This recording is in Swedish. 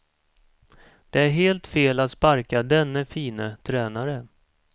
Det är helt fel att sparka denne fine tränare.